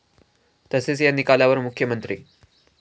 तसेच या निकालावर मुख्यमंत्री.